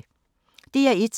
DR1